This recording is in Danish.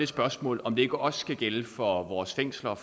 spørgsmål om det ikke også skal gælde for vores fængsler og